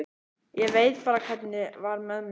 Ég veit bara hvernig var með mig.